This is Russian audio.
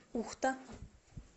ухта